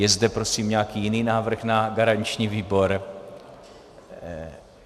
Je zde prosím nějaký jiný návrh na garanční výbor?